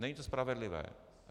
Není to spravedlivé.